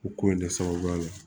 O ko in de sababuya la